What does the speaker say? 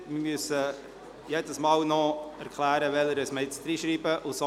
Wir müssen jedes Mal noch erklären, welche Änderungen wir ins Gesetz schreiben werden.